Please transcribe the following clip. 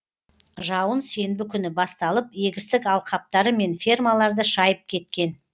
жауын сенбі күні басталып егістік алқаптары мен фермаларды шайып кеткен